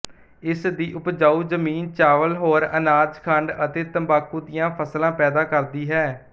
ਇਸ ਦੀ ਉਪਜਾਉ ਜ਼ਮੀਨ ਚਾਵਲ ਹੋਰ ਅਨਾਜ ਖੰਡ ਅਤੇ ਤੰਬਾਕੂ ਦੀਆਂ ਫਸਲਾਂ ਪੈਦਾ ਕਰਦੀ ਹੈ